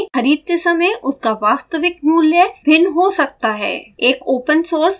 तथापि ध्यान दें खरीदते समय उसका वास्तविक मूल्य भिन्न हो सकता है